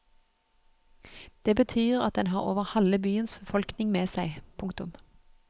Det betyr at den har over halve byens befolkning med seg. punktum